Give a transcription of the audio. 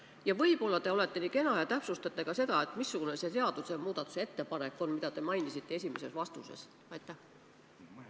Ning võib-olla te olete nii kena ja täpsustate ka, missugune on see seaduse muutmise ettepanek, mida te esimeses vastuses mainisite?